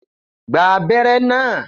Gba abẹ́rẹ́ náà!